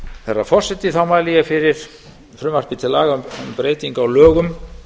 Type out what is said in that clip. herra forseti þá mæli ég fyrir frumvarpi til laga um breytingu á lögum